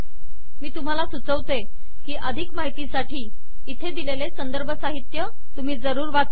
मी तुम्हाला सुचवते की अधिक माहितीसाठी इथे दिलेले संदर्भ साहित्य तुम्ही जरूर वाचा